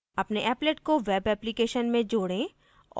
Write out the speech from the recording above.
अपने applet को web application में जोडें